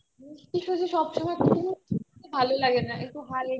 শুধু শুধু সব সময় না ভালো লাগে না একটু হালকা